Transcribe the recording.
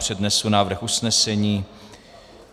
Přednesu návrh usnesení.